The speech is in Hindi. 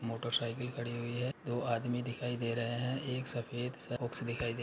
मोटरसाइकील खड़ी हुई हैदो आदमी दिखाई दे रहे हैंएक सफेद सा बॉक्स दिखाइ दे --